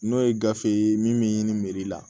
N'o ye gafe ye min me ɲini la